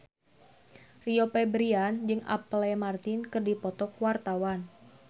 Rio Febrian jeung Apple Martin keur dipoto ku wartawan